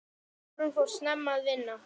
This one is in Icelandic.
Þórunn fór snemma að vinna.